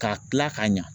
K'a tila ka ɲɛ